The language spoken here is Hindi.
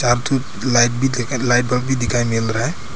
लाइट भी लाइट बल्ब भी दिखाई मिल रहा है।